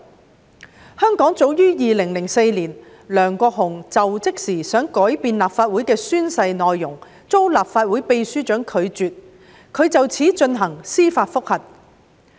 在香港，早於2004年，梁國雄在就職時曾想改變立法會的宣誓內容，並在遭受立法會秘書長拒絕後提出司法覆核。